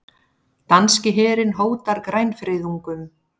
Danski herinn hótar grænfriðungum